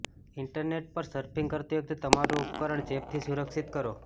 internet પર surfing કરતી વખતે તમારું ઉપકરણ ચેપથી સુરક્ષિત કરો